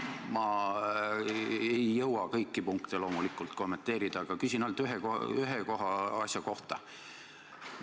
Ma ei jõua loomulikult kõiki punkte kommenteerida, küsin ainult ühe asja kohta.